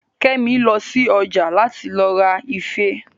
Kẹ́mi lọ sí ọjà láti lọ ra ife